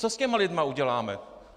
Co s těmi lidmi uděláme?